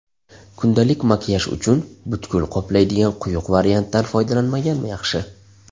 Kundalik makiyaj uchun butkul qoplaydigan quyuq variantdan foydalanmagan yaxshi.